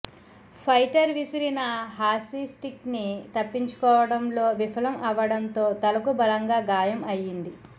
fighter విసిరిన hockey stick ని తప్పించుకోవటంలో విఫలం అవ్వడంతో తలకు బలంగా గాయం అయ్యింది